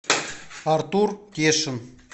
артур кешин